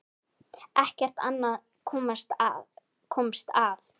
Ekkert annað komst að.